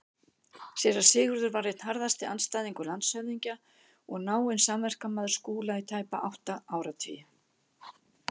Séra Sigurður var einn harðasti andstæðingur landshöfðingja og náinn samverkamaður Skúla í tæpa tvo áratugi.